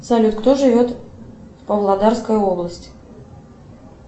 салют кто живет в павлодарской области